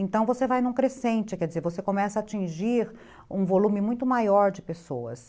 Então, você vai num crescente, quer dizer, você começa a atingir um volume muito maior de pessoas.